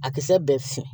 A kisɛ bɛɛ fin